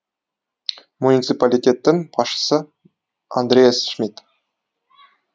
муниципалитеттің басшысы андреас шмид